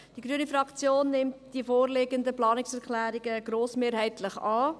Die grüne Fraktion nimmt die vorliegenden Planungserklärungen grossmehrheitlich an.